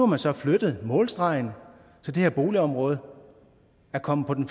man så flyttet målstregen så det her boligområde er kommet på den